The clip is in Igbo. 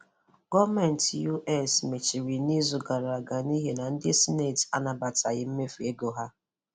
Gọọmentị US mechiri n'izu gara aga n'ihi na ndị Sineti anabataghị mmefu ego ha.